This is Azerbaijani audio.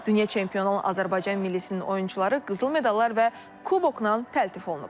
Dünya çempionu olan Azərbaycan millisnin oyunçuları qızıl medallar və kubokla təltif olunublar.